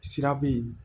Sira be yen